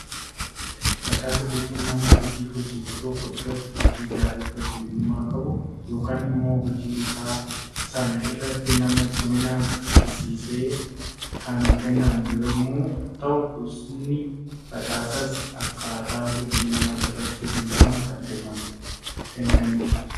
Badhaasa jechuun nama hojii hojjetu tokko irratti hojii gaarii fakkeenyummaa qabu yookaan immoo hojii isaa sana irratti nama cimina argisiiseef kan kennamu yemmuu ta'u, gosoonni badhaasaas akkaataa hojii nama irratti hundaa'uun kan kennamanidha.